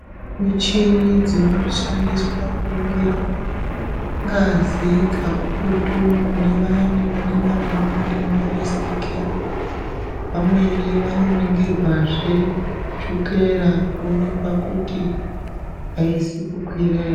Michini dzinoshandiswa kuningira ngazi kakurutu kune vayani vanongana vane denda resiki. Vamweni vanoringirwazve, chukera, kuonekwa kuti, aizi kukwira ere.